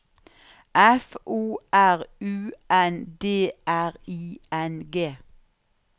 F O R U N D R I N G